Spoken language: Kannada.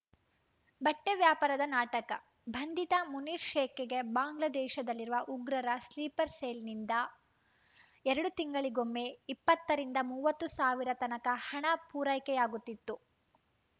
ಬಟ್ಟೆವ್ಯಾಪಾರದ ನಾಟಕ ಬಂಧಿತ ಮುನೀರ್‌ ಶೇಕ್‌ಗೆ ಬಾಂಗ್ಲಾದೇಶದಲ್ಲಿರುವ ಉಗ್ರರ ಸ್ಲೀಪರ್‌ ಸೆಲ್‌ನಿಂದ ಎರಡು ತಿಂಗಳಿಗೊಮ್ಮೆ ಇಪ್ಪತ್ತರಿಂದ ಮೂವತ್ತು ಸಾವಿರತನಕ ಹಣ ಪೂರೈಕೆಯಾಗುತ್ತಿತ್ತು